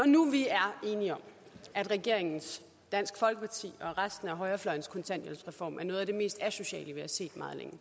noget vi er enige om at regeringens dansk folkepartis og resten af højrefløjens kontanthjælpsreform er noget af det mest asociale vi har set meget længe